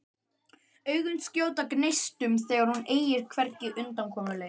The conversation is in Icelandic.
Augun skjóta gneistum þegar hún eygir hvergi undankomuleið.